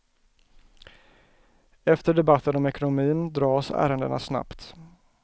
Efter debatten om ekonomin dras ärendena snabbt.